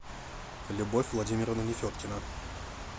любовь владимировна нефедкина